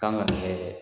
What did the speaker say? Kan ka